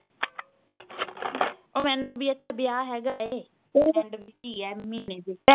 ਮੈਨੂੰ ਵੀ ਇੱਥੇ ਵਿਆਹ ਹੇਗਾ ਐ ਐਂਡ ਵਿੱਚ ਈ ਐ ਮਹੀਨੇ ਦੇ